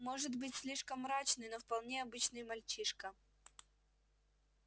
может быть слишком мрачный но вполне обычный мальчишка